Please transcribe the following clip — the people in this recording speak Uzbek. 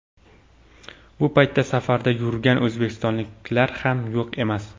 Bu paytda safarda yurgan o‘zbekistonliklar ham yo‘q emas.